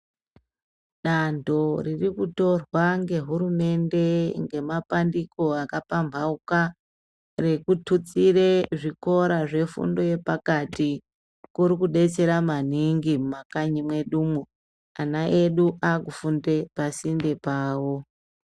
Danto ririkutorwa ngehurumende ngemapandiko akapamhauka rekututsire zvikora zvefundo yepakati kuri kudetsera maningi mumakanyi mwedumwo ana edu akufunde pasinde pawo.